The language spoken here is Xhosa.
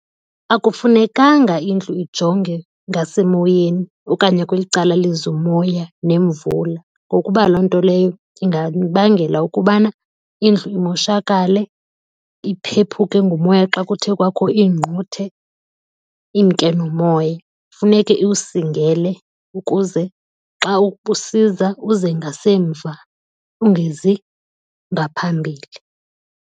Akufunekanga indlu ijonge ngasemoyeni okanye kweli cala liza umoya nemvula ngokuba loo nto leyo ingabangela ukubana indlu imoshakale, iphephuke ngumoya xa kuthe kwakho iingquthe imke nomoya. Funeke iwusingele, ukuze xa usiza uze ngasemva ungezi ngaphambili.